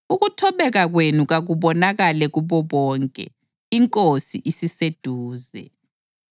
Ukuthobeka kwenu kakubonakale kubo bonke. INkosi isiseduze.